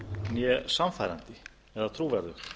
né sannfærandi eða trúverðugt